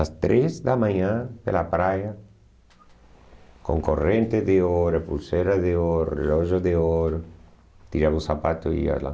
Às três da manhã, pela praia, com corrente de ouro, pulseira de ouro, relógio de ouro, tirava o sapato e ia lá.